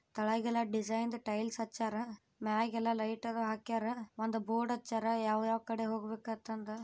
ತೆಳಗೆಲ್ಲ ಡಿಸೈನ್ದು ಟೈಲ್ಸ್ ಹಚ್ಯಾರ್ ಮೆಗೆಲ್ ಲೈಟ್ ಎಲ್ಲ ಹಾಕ್ಯಾರ ಒಂದು ಬೋರ್ಡ್ ಹಚ್ಯಾರ್ ಯಾವ ಯಾವ ಕಡೆ ಹೋಗಬೇಕ್ ಅಂತ ಅಂದ್ರ್--